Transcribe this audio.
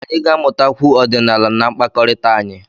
Anyị ga-amụtakwu ọdịnala na mkpakọrịta anyị.